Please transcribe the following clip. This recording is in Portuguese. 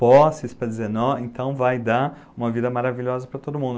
posses para dizer nossa, então vai dar uma vida maravilhosa para todo mundo.